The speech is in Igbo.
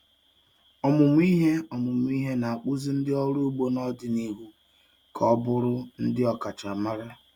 Ọmụmụ ihe Ọmụmụ ihe na-akpụzi ndị ọrụ ugbo n'ọdịnihu ka ọ bụrụ ndị ọkachamara.